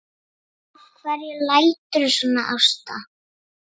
Af hverju læturðu svona Ásta?